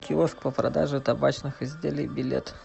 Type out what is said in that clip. киоск по продаже табачных изделий билет